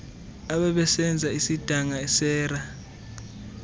abebesenza isidanga sera